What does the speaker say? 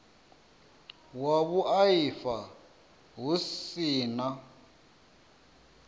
wa vhuaifa hu si na